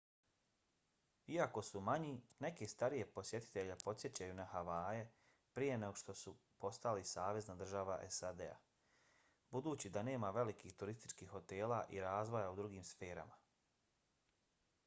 iako su manji neke starije posjetitelje podsjećaju na havaje prije nego što su postali savezna država sad budući da nema velikih turističkih hotela i razvoja u drugim sferama